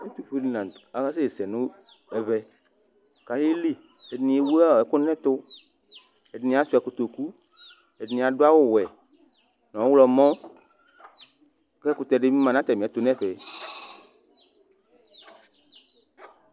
Yovo di lanʋtɛ asɛsɛ nʋ ɛvɛ kʋ ayeli ɛdini ewʋ ɛkʋ nʋ ɛtʋ ɛdini asuia kotokʋ ɛdini adʋ awʋwɛ nʋ ɔwlɔmɔ kʋ ɛkʋtɛ dibi ma nʋ atami ɛtʋ nʋ ɛfɛ